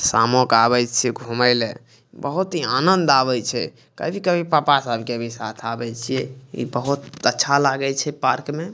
शामो के आवे छीये घूमे ले बहुत ही आनंद आवे छै कभी-कभी पापा सबके साथ भी आवे छीये इ बहुत अच्छा लागे छै पार्क में।